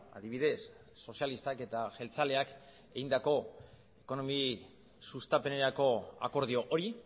adibidez sozialistak eta jeltzaleak egindako ekonomi sustapenerako akordio hori